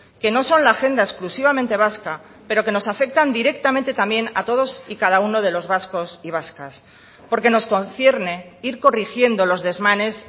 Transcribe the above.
que no son la agenda exclusivamente vasca pero que nos afectan directamente también a todos y cada uno de los vascos y vascas porque nos concierne ir corrigiendo los desmanes